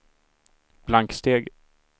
blanksteg